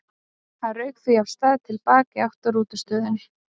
Hann rauk því af stað til baka í átt að rútustöðinni.